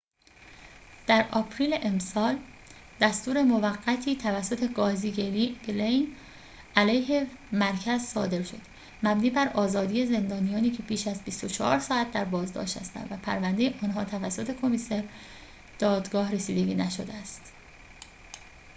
در آپریل امسال دستور موقتی توسط قاضی گلین علیه مرکز صادر شد مبنی بر آزادی زندانیانی که بیش از ۲۴ ساعت در بازداشت هستند و پرونده آنها توسط کمیسر دادگاه رسیدگی نشده است